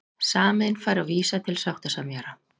Samiðn fær að vísa til sáttasemjara